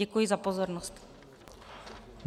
Děkuji za pozornost.